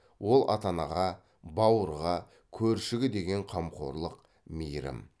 ол ата анаға бауырға көршіге деген қамқорлық мейірім